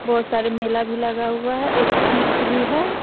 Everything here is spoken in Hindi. बहुत सारे मेला भी लगा हुआ है एक ईख भी है।